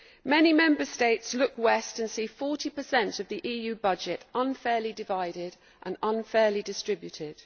Many Member States look west and see 40 of the EU budget unfairly divided and unfairly distributed.